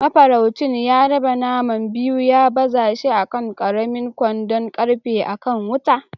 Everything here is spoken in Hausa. Mafaraucin ya raba naman biyu ya baza shi a kan ƙaramin kwandon ƙarfe a kan wuta.